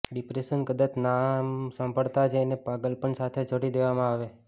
depression કદાચ નામ સાંભળતા જ એને પાગલપન સાથે જોડી દેવામાં આવે